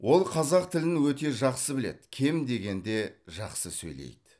ол қазақ тілін өте жақсы біледі кем дегенде жақсы сөйлейді